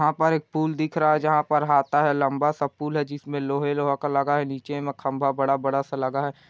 वहाँ पर एक पूल दिख रहा है जहाँ पर है लम्बा सा पूल है जिस मै लोहे लोहे का लगा है नीचे मैं खम्बा बड़ा-बड़ा सा लगा है|